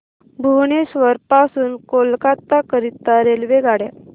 भुवनेश्वर पासून कोलकाता करीता रेल्वेगाड्या